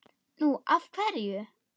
Nú. af hverju?